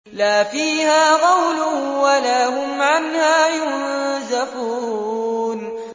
لَا فِيهَا غَوْلٌ وَلَا هُمْ عَنْهَا يُنزَفُونَ